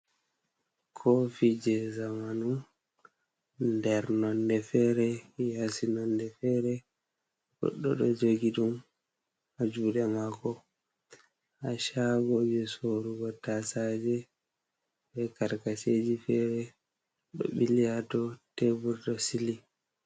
Kofi je zamanu nder nonde fere, yasi nonde fere. Goddo ɗo jogi ɗum ha juɗe mako.ha Shago je Sorrugo tasaje be Karkaseji fere, ɗo ɓili ha dou tebur ɗo Sili.